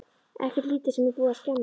Ekkert lítið sem er búið að skemma!